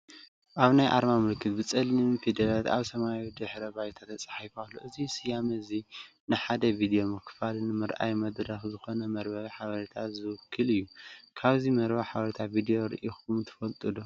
እዚ ናይ ኣርማ ምልክት ብጸሊም ፊደላት ኣብ ሰማያዊ ድሕረ ባይታ ተጻሒፉ ኣሎ። እዚ ስያመ እዚ ንሓደ ቪድዮ ምክፋልን ምርኣይን መድረኽ ዝኾነ መርበብ ሓበሬታ ዝውክል እዩ። ካብዚ መርበብ ሓበሬታ ቪድዮ ርኢኹም ትፈልጡ ዶ?